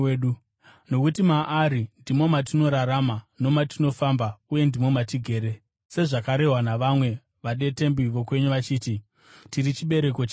‘Nokuti maari ndimo matinorarama nomatinofamba, uye ndimo matigere.’ Sezvakarehwa navamwe vadetembi vokwenyu vachiti, ‘Tiri chibereko chake.’